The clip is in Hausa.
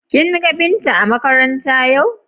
Kin ga Binta a makaranta yau?